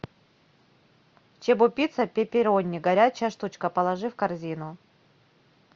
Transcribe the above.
чебупицца пепперони горячая штучка положи в корзину